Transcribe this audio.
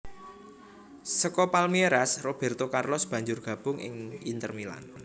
Saka Palmeiras Robérto Carlos banjur gabung ing Inter Milan